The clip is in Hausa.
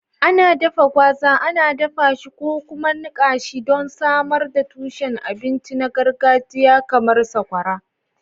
Ana dafa gwaza, ana dafa shi ko kuma a niƙa shi don samar da tushen abinci na gargajiya kamar sakwara